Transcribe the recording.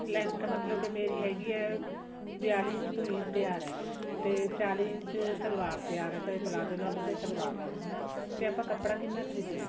length ਮਤਲਬ ਕਿ ਮੇਰੀ ਹੈਗੀ ਏ ਵਿਆਲੀ ਇੰਚ ਕਮੀਜ਼ ਤਿਆਰ ਆ ਤੇ ਚਾਲੀ ਇੰਚ ਸਲਵਾਰ ਤਿਆਰ ਆ ਚਾਹੇ ਪਲਾਜ਼ੋ ਲਾਲੋ ਚਾਹੇ ਸਲਵਾਰ ਲਾਲੋ ਹਨਾ ਤੇ ਆਪਾਂ ਕੱਪੜਾ ਕਿੰਨਾ ਖਰੀਦੀਏ